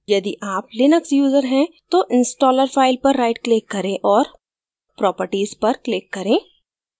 यदि आप Linux user हैं तो installer file पर right click करें और properties पर click करें